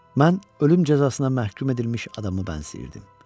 Mən ölüm cəzasına məhkum edilmiş adamı bənzəyirdim.